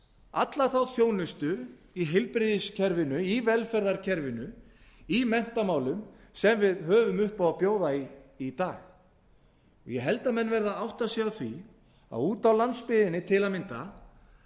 alla þá þjónustu í heilbrigðiskerfinu í velferðarkerfinu í menntamálum sem við höfum upp á að bjóða í dag ég held að menn verði að átta sig á því að úti á landsbyggðinni til að mynda